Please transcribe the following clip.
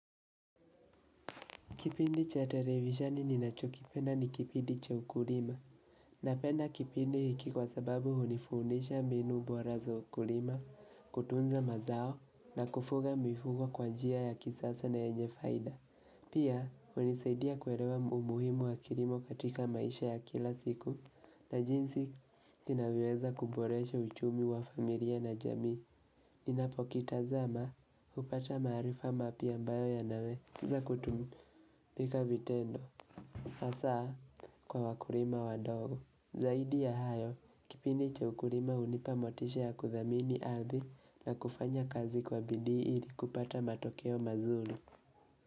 Kipindi cha televisheni ninachokipenda ni kipindi cha ukulima Napenda kipindi hiki kwa sababu hunifundisha mbinu bora za ukulima kutunza mazao na kufuga mifugo kwa njia ya kisasa na yenye faida Pia, hunisaidia kuerewa umuhimu wa kirimo katika maisha ya kila siku na jinsi, ninavyoweza kuboresha uchumi wa familia na jamii Ninapokitazama, hupata maarifa mapya ambayo yanaweza kutumika vitendo Hasa kwa wakurima wadogo Zaidi ya hayo kipindi cha ukurima unipa motisha ya kuthamini ardhi na kufanya kazi kwa bidi ili kupata matokeo mazuli.